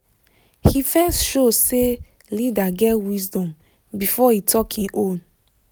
he first show say leader get wisdom before e talk e own